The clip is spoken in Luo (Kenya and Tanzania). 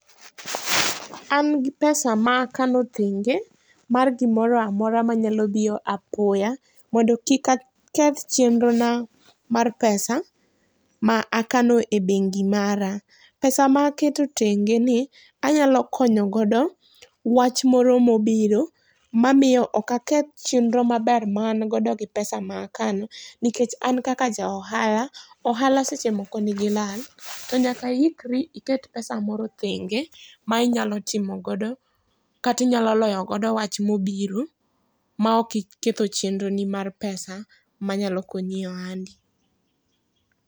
An gi pesa ma akano thenge mar gi moro amora ma nya biro apoya, mondo kik aketh chendro na mar pesa ma akano e bengi mara. Pesa ma aketo thenge ni anyalo konyo godo wach moro ma obiro ma miyo ok aketh chenro ma ber ma an godo gi pesa ma akano, nikech an kaka ja ohala, ohala seche moko ni gi lal to nyaka i ikri iket pesa moro thenge ma inyalo timo godo kata inyalo loyo godo wach ma obiro ma ok iketho chenro ni mar pesa ma nyalo konyi e ohandi.